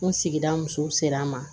N sigida musow sera an ma